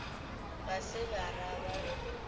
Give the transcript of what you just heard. ga se ba ra ba